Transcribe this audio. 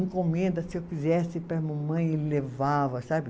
Encomenda, se eu quisesse, para a mamãe, ele levava, sabe?